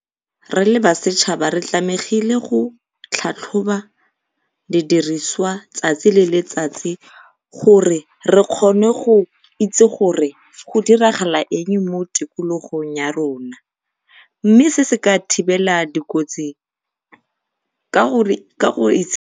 Re le ba setšhaba re tlamegile go tlhatlhoba dirisiswa tsatsi le letsatsi gore kgone go itse gore go diragala eng mo tikologong ya rona. Mme se se ka thibela dikotsi ka gore